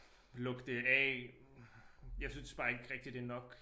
Lukke det af jeg synes bare ikke rigtig det nok